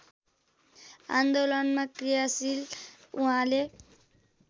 आन्दोलनमा क्रियाशील उहाँले